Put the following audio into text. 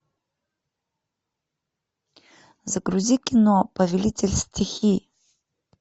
загрузи кино повелитель стихий